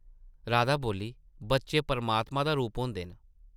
राधा बोली, बच्चे परमात्मा दा रूप होंदे न ।